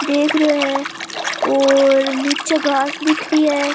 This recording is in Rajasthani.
देख रियो है और निचे घास दिख री है।